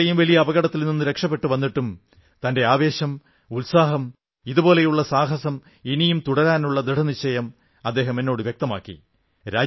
ഇത്രയും വലിയ അപകടത്തിൽ നിന്ന് രക്ഷപ്പെട്ട് വന്നിട്ടും തന്റെ ആവേശം ഉത്സാഹം ഇതുപോലുള്ള സാഹസം ഇനിയും തുടരാനുള്ള ദൃഢനിശ്ചയം അദ്ദേഹം എന്നോടു വ്യക്തമാക്കി